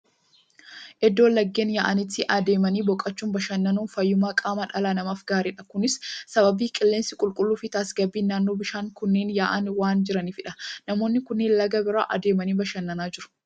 Iddoo laggeen yaa'anitti adeemanii boqochuun, bashannanuun fayyummaa qaama dhala namaaf gaariidha. Kunis sababa qilleensi qulqulluu fi tasgabbiin naannoon bishaan kunneen yaa'an waan jiruufidha. Namoonni kunneen laga bira adeemanii bashannanaa jiru.